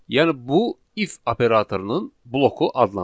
Yəni bu if operatorunun bloku adlanır.